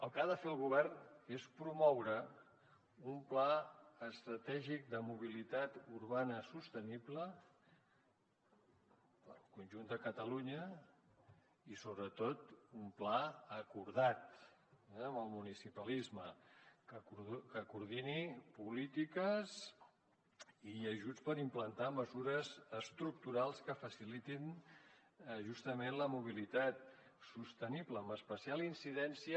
el que ha de fer el govern és promoure un pla estratègic de mobilitat urbana sostenible per al conjunt de catalunya i sobretot un pla acordat amb el municipalisme que coordini polítiques i ajuts per implantar mesures estructurals que facilitin justament la mobilitat sostenible amb especial incidència